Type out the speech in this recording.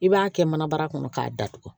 I b'a kɛ mana bara kɔnɔ k'a datugu